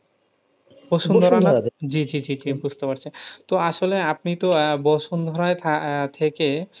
জি জি জি জি বুঝতে পারছি। তো আসলে আপনি তো আহ বসুন্ধরায় থেকে আহ থেকে,